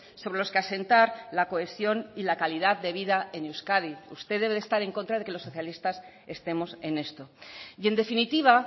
sobre los que asentar la cohesión y la calidad de vida en euskadi usted debe estar en contra de que los socialistas estemos en esto y en definitiva